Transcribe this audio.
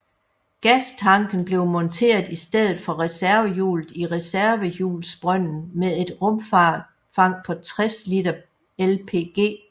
Gastanken blev monteret i stedet for reservehjulet i reservehjulsbrønden med et rumfang på 60 liter LPG